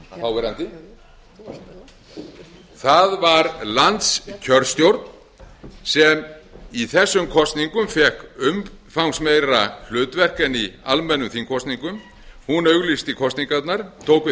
þáverandi það var landskjörstjórn sem í þessum kosningum fékk umfangsmeira hlutverk en í almennum þingkosningum hún auglýsti kosningarnar tók við